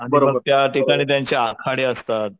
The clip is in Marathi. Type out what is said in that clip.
आणि त्या ठिकाणी त्यांचे आखाडे असतात.